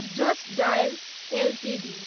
just dial Ltd